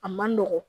A man nɔgɔn